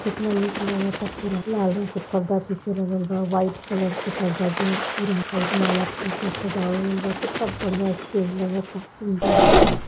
कितना नीक लागता पूरा लाल रंग के पर्दा पीछे लागल बा व्हाइट कलर का पर्दा वि पूरा अ माला फूल से सजावल गइल बा कित्ता बढ़िया स्टेज लगता सुन्दर एकदम --